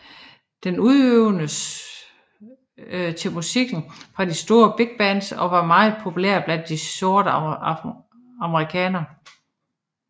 Den udøvedes til musikken fra de store bigbands og var meget populær blandt de sorte amerikanere